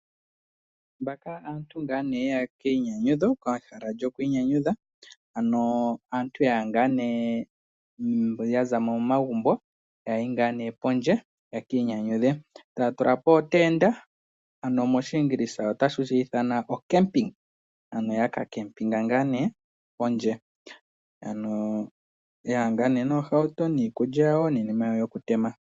Mbaka aantu ngaa ye ya komainyanyudho pehala lyomainyanyudho, ano aantu ya ya ngaa nee ya za mo momagumbo ya ya ngaa nee pondje yeki inyanyudhe. Taya tula po tula po ootenda, opo ya ka ninge ontanda pondje, ano ya ya ngaa nee noohauto, niikulya yawo niinima yawo yokutema.